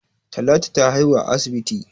Talatu ta haihu a asibit.